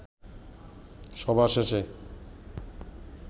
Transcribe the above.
সভা শেষে